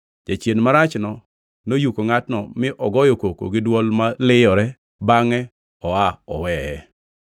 Jachien marachno noyuko ngʼatno mi ogoyo koko gi dwol ma liyore, bangʼe oa oweye.